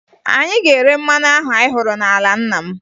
Anyị ga-ere mmanụ ahụ anyị hụrụ n'ala nna m